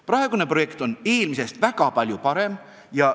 Praegune projekt on eelmisest väga palju parem.